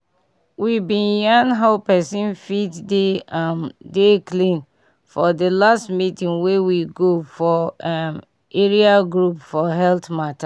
we bin yan how pesin fit dey um dey clean for di last meeting wey we go for eh area group for health mata